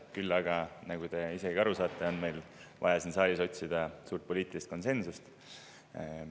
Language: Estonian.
Küll aga, nagu te isegi aru saate, on meil vaja siin saalis otsida suurt poliitilist konsensust.